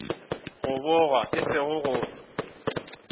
go bogwa e sego go